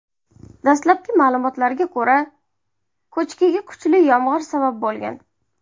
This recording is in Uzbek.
Dastlabki ma’lumotlarga ko‘ra, ko‘chkiga kuchli yomg‘ir sabab bo‘lgan.